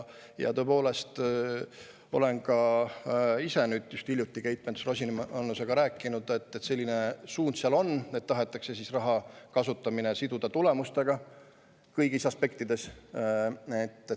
Tõepoolest, olen ka ise hiljuti Keit Pentus-Rosimannusega rääkinud ja selline suund seal on, et tahetakse raha kasutamine siduda tulemustega kõigis aspektides.